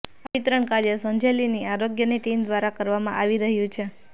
આ વિતરણ કાર્ય સંજેલીની આરોગ્યની ટીમ દ્વારા કરવામા આવી રહ્યુ છે